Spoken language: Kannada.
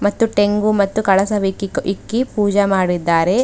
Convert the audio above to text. ಮತ್ತು ತೆಂಗು ಮತ್ತು ಕಳಸವೆಕಿ ಇಕ್ಕಿ ಪೂಜೆ ಮಾಡಿದ್ದಾರೆ.